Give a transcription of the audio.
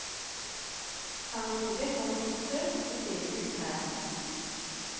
Kan ikke be folk på besøk, det ser ikke ut her.